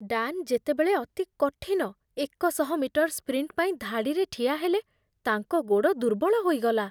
Dan ଯେତେବେଳେ ଅତି କଠିନ ଏକଶହ ମିଟର୍ ସ୍ପ୍ରିଣ୍ଟ ପାଇଁ ଧାଡ଼ିରେ ଠିଆହେଲେ, ତାଙ୍କ ଗୋଡ଼ ଦୁର୍ବଳ ହୋଇଗଲା।